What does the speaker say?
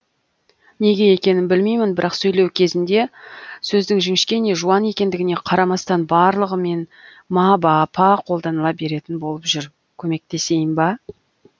неге екенін білмеймін бірақ сөйлеу кезінде сөздің жіңішке не жуан екендігіне қарамастан барлығымен ма ба па қолданыла беретін болып жүр көмектесейін ба